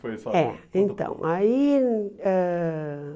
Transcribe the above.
foi isso? É, então, aí ãh